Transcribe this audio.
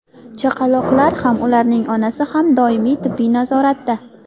Chaqaloqlar ham, ularning onasi ham doimiy tibbiy nazoratda.